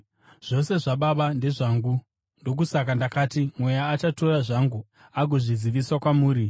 Zvose zvaBaba ndezvangu. Ndokusaka ndakati Mweya achatora zvangu agozvizivisa kwamuri.